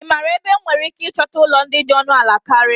Ị maara ebe m nwere ike ịchọta ụlọ ndị dị ọnụ ala karịa?